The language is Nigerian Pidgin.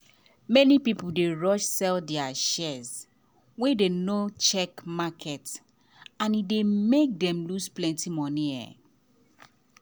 many people dey rush sell their shares wen dem no check market and e dey make dem lose plenty money.